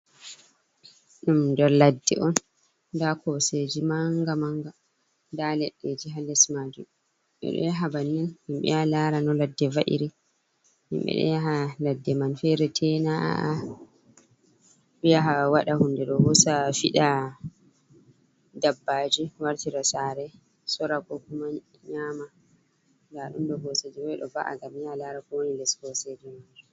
Dum don ladde on da koseji manga manga. Nda leɗɗeji halles maji ɓeɗo yaha bannin himbe ya lara no ladde va’iri himɓe ɗo yaha ladde manfere tena’’a bha wada hunde ɗo husa fida dabbaji wartida sare surako kuma nyama. Nda dundo hoseji waido ba’a gam ya lara kowoni les koseji man.